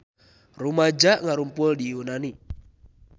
Rumaja ngarumpul di Yunani